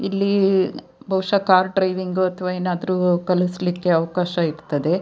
ಇಲ್ಲಿ ಬಹುಶ car driving ಅಥವಾ ಏನಾದ್ರು ಕಲಿಸಲಿಕ್ಕೆ ಅವಕಾಶ ಇರ್ತದೆ.